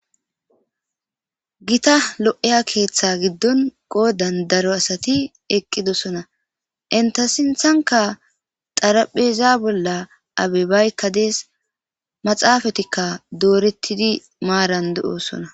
Gita lo'ya keetha gidin qodaan darro asatti eqidossona entta sinthnkka xarphezza bolla abebaykka dees maxxafetikka dorretidi maaran de'ssona.